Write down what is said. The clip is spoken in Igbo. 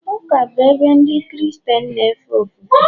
ụka bụ ebe Ndị Kristien na-efe ofufe..